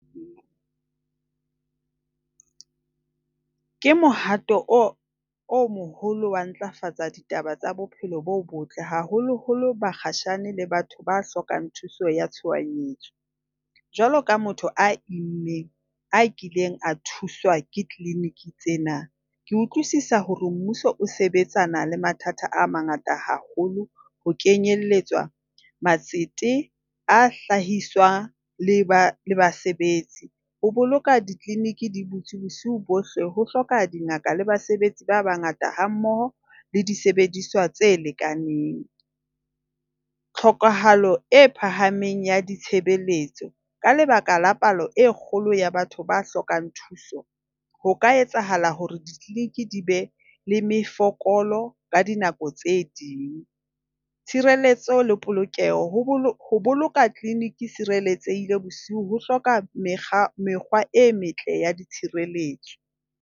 Ke mohato o moholo wa ho ntlafatsa ditaba tsa bophelo bo botle haholoholo bakgatjhane le batho ba hlokang thuso ya tshohanyetso. Jwaloka motho a immeng a kileng a thuswa ke clinic tsena. Ke utlwisisa hore mmuso o sebetsana le mathata a mangata haholo ho kenyelletswa matsete a hlahiswa le ba basebetsi. Ho boloka di-clinic di butswe bosiu bohle ho hloka dingaka le basebetsi ba bangata hammoho le disebediswa tse lekaneng. Tlhokahalo e phahameng ya ditshebeletso, ka lebaka la palo e kgolo ya batho ba hlokang thuso ho ka etsahala hore di-clinic di be le mefokolo ka dinako tse ding. Tshireletso le polokeho, ho boloka clinic e sireletsehile bosiu ho hloka mekga mekgwa e metle ya tshireletso.